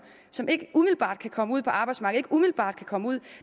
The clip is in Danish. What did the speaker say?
som ikke umiddelbart kan komme ud på arbejdsmarkedet ikke umiddelbart kan komme ud